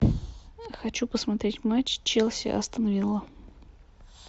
хочу посмотреть матч челси астон вилла